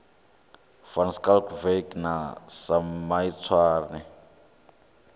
van schalkwyk na sam maitswane